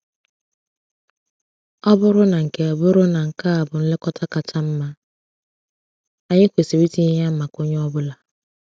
Ọ bụrụ na nke bụrụ na nke a bụ nlekọta kacha mma, anyị kwesịrị itinye ya maka onye ọ bụla.